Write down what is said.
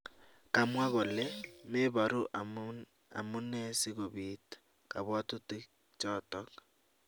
Kamwa kolee meboru amunee sikobiit kabwatutik chotok